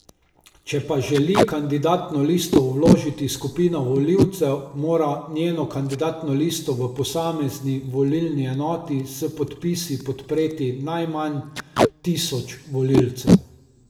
Če pa želi kandidatno listo vložiti skupina volivcev, mora njeno kandidatno listo v posamezni volilni enoti s podpisi podpreti najmanj tisoč volivcev.